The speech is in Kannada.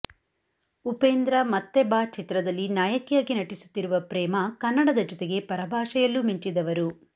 ಉಪೇಂದ್ರ ಮತ್ತೆ ಬಾ ಚಿತ್ರದಲ್ಲಿ ನಾಯಕಿಯಾಗಿ ನಟಿಸುತ್ತಿರುವ ಪ್ರೇಮಾ ಕನ್ನಡದ ಜೊತಗೆ ಪರಭಾಷೆಯಲ್ಲೂ ಮಿಂಚಿದವರು